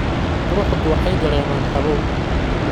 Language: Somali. Quruxdu waxay dareemaan qabow